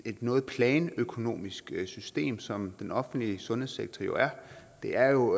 noget planøkonomisk system som den offentlige sundhedssektor jo er det er jo